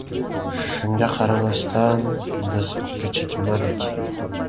Shunga qaramasdan, biz ortga chekinmadik.